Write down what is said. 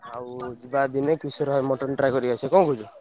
ଆଉ ଯିବା ଦିନେ କିଶୋର ଭାଇ mutton try କରିକି ଆସିଆ କଣ କହୁଛ?